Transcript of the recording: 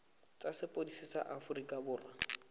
tsa sepodisi sa aforika borwa